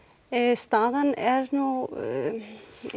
staðan er nú ég